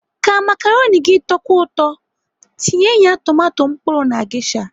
Ka makaroni gị tọkwuo ụtọ, tinye ya tomato mkpụrụ na gesha.